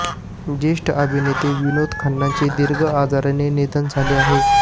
ज्येष्ठ अभिनेते विनोद खन्नांचं दिर्घ आजारानं निधन झालं आहे